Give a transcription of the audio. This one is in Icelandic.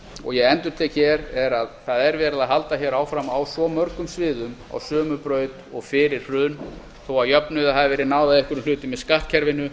og ég endurtek hér er að það er haldið hér áfram á svo mörgum sviðum á sömu braut og fyrir hrun þó að jöfnuði hafi verið náð á einhverjum hlutum með skattkerfinu